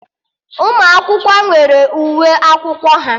Ụmụ akwụkwọ nwere uwe akwụkwọ ha